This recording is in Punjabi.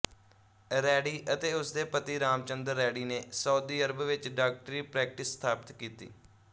ਰੈਡੀ ਅਤੇ ਉਸਦੇ ਪਤੀ ਰਾਮਚੰਦਰ ਰੈਡੀ ਨੇ ਸਾਊਦੀ ਅਰਬ ਵਿਚ ਡਾਕਟਰੀ ਪ੍ਰੈਕਟਿਸ ਸਥਾਪਿਤ ਕੀਤੀ